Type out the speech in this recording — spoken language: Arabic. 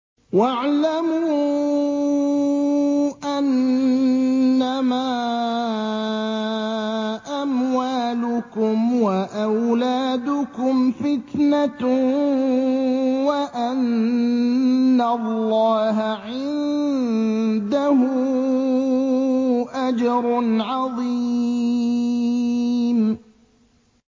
وَاعْلَمُوا أَنَّمَا أَمْوَالُكُمْ وَأَوْلَادُكُمْ فِتْنَةٌ وَأَنَّ اللَّهَ عِندَهُ أَجْرٌ عَظِيمٌ